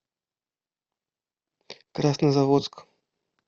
краснозаводск